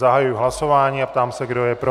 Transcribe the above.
Zahajuji hlasování a ptám se, kdo je pro.